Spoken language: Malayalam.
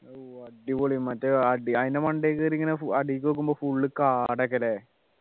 ഓ അടിപൊളി മറ്റേ അടി അതിൻ്റെ മണ്ടയിൽ കേറി ഇങ്ങനെ അടിക്കു നോക്കുമ്പോ full കാടൊക്കെ ആളല്ലേ